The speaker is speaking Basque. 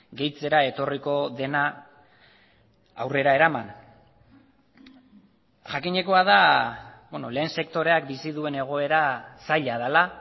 gehitzera etorriko dena aurrera eraman jakinekoa da lehen sektoreak bizi duen egoera zaila dela